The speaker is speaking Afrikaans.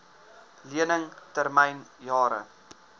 lening termyn jare